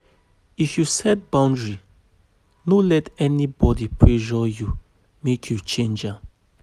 If you set boundary, no let anybody pressure you make you change am.